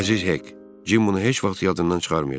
Əziz Hik, Cim bunu heç vaxt yadından çıxarmayacaq.